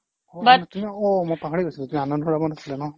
অ' মই পাহৰি গৈছো তুমি আনন্দৰামত আছিলা ন